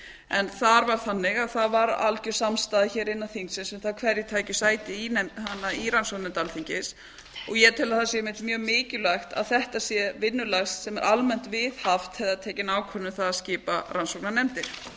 en þar var þannig að það var algjör samstaða hér innan þingsins um það hverjir tækju sæti í rannsóknarnefnd alþingis og ég tel að það sé einmitt mjög mikilvægt að þetta sé vinnulag sem er almennt viðhaft þegar það er tekin ákvörðun um það að skipa rannsóknarnefndir síðan